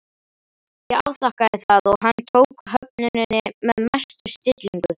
Ég afþakkaði það og hann tók höfnuninni með mestu stillingu.